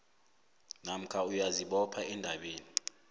namkha uyazibopha endabeni